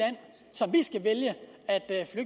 som